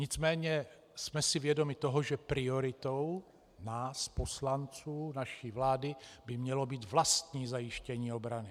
Nicméně jsme si vědomi toho, že prioritou nás poslanců, naší vlády by mělo být vlastní zajištění obrany.